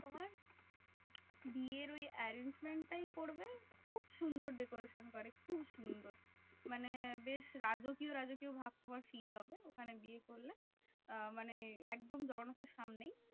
তোমার বিয়ের ওই arrangement টাই করবে খুব সুন্দর decoration করে খুব সুন্দর। মানে বেশ রাজকীয় রাজকীয় ভাব তোমার fill হবে ওখানে বিয়ে করলে? আহ মানে একদম জগন্নাথের সামনেই।